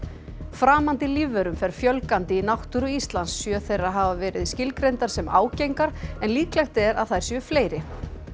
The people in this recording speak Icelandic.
framandi lífverum fer fjölgandi í náttúru Íslands sjö þeirra hafa verið skilgreindar sem ágengar en líklegt er að þær séu fleiri